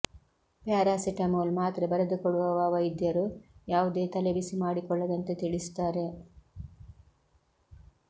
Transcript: paracetamol ಮಾತ್ರೆ ಬರೆದುಕೊಡುವವ ವೈದ್ಯರು ಯಾವುದೇ ತಲೆ ಬಿಸಿ ಮಾಡಿಕೊಳ್ಳದಂತೆ ತಿಳಿಸುತ್ತಾರೆ